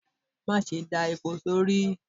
Ma sé da epó sọrí